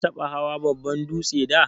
Ka taba hawan babban dūtse da?